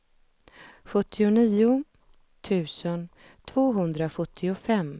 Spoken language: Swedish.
femtio tusen etthundrafyrtiotre